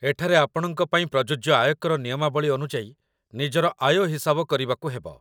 ଏଠାରେ ଆପଣଙ୍କ ପାଇଁ ପ୍ରଯୁଜ୍ୟ ଆୟକର ନିୟମାବଳୀ ଅନୁଯାୟୀ ନିଜର ଆୟ ହିସାବ କରିବାକୁ ହେବ